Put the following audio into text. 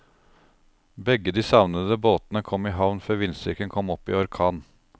Begge de savnede båtene kom i havn før vindstyrken kom opp i orkan.